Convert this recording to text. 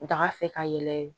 Daga fɛ ka yɛlɛ